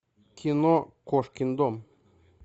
кино кошкин дом